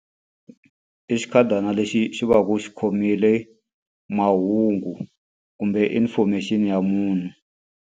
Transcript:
I xikhadana lexi xi va ku xi khomile mahungu kumbe information-i ya munhu.